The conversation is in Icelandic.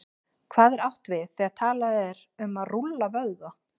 Hvað er átt við, þegar talað er um að rúlla vöðva?